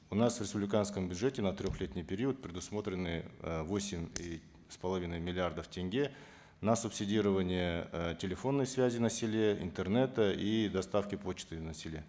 у нас в республиканском бюджете на трехлетний период предусмотрены э восемь с половиной миллиардов тенге на субсидирование э телефонной связи на селе интернета и доставки почты на селе